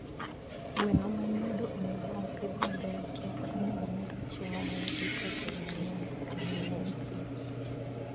Gweno ma nyodo onego opidh maber to ok onego omigi chiemo ma nigi protein mang'eny ahinya nikech